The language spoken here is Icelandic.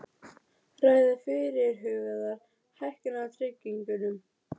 Viðar Örn sem kemur til Fylkis frá uppeldisfélagi sínu, Selfoss.